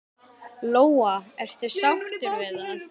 Lóa: Ertu sáttur við það?